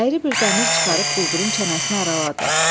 Əyri bir dəmir çıxarıb quldurun çənəsini araladı.